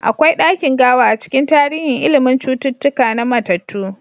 Akwai dakin gawa a cikin tarihin ilimin cututtuka na mattatu.